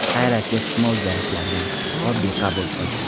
Hayratga tushma o‘zgarishlardan, oddiy qabul qil.